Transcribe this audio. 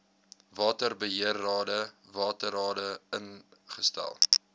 waterbeheerrade waterrade ingestel